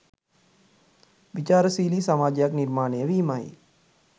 විචාරශීලි සමාජයක් නිර්මාණය වීමයි.